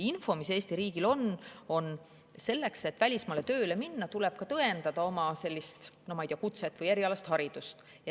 Info, mis Eesti riigil on, on, et välismaale tööle minemiseks tuleb tõendada oma, ma ei tea, kutset või erialast haridust.